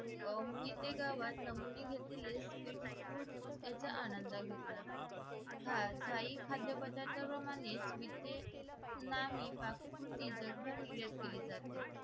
मोहिते गावात नमुने घेतलेले sweet food याचा आनंद घेतला स्थायी खाद्यपदार्थ प्रमाणेच मी ते नामी काककृती जगभर मिरज केली